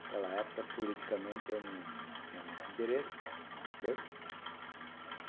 Naquela época, politicamente, eu não tinha muito interesse nas coisas.